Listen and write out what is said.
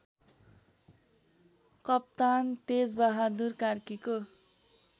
कप्तान तेजबहादुर कार्कीको